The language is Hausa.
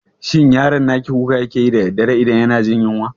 Shin yaron naki kuka yake yi da daddare idan yana jin yunwa?